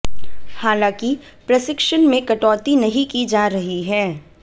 हालांकि प्रशिक्षण में कटौती नहीं की जा रही है